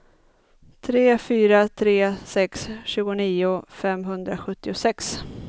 tre fyra tre sex tjugonio femhundrasjuttiosex